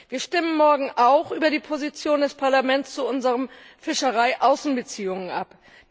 Wir stimmen morgen auch über die Position des Parlaments zu unseren Fischereiaußenbeziehungen ab.